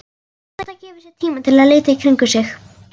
Edda gefur sér tíma til að líta í kringum sig.